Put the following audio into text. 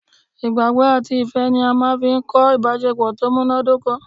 Ìgbàgbọ́ àti ifẹ́ ni a máa n fi kọ́ ìbásepọ̀ tó múnádóko